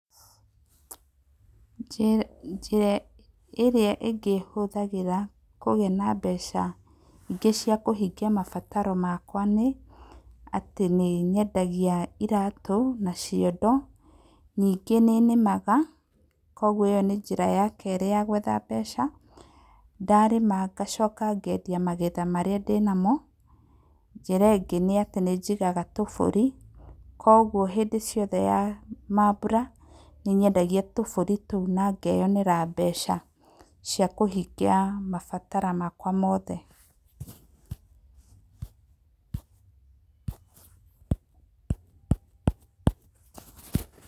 Njĩra ĩrĩa ĩngĩ hũthagĩra kũgĩa na mbeca cia kũhingia mabataro makwa nĩ atĩ, nĩ nyendagia iratũ na ciondo, ningĩ nĩ nĩmaga kwoguo ĩyo nĩ njĩra ya kerĩ ya gwetha mbeca, ndarĩma ngacoka ngendia magetha marĩa ndĩnamo, njĩra ĩngĩ nĩ atĩ nĩ njigaga tũbũri kwoguo hĩndĩ ciothe ya mambuta nĩ nyendagia tũbũrina ngeyonera mbeca cia kũhingia mabataro makwa mothe.